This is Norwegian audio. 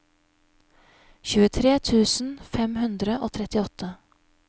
tjuetre tusen fem hundre og trettiåtte